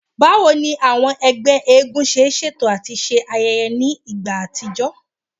Bawo ni awọn ẹgbẹ eégún ṣe ṣeto ati ṣe ayẹyẹ ni igba atijọ?